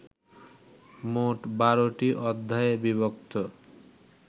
মোট ১২টি অধ্যায়ে বিভক্ত